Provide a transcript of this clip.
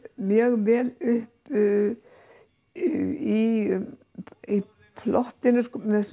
mjög vel upp í plottinu